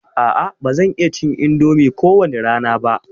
A'a ba zan iya cin indomi ko wani rana ba.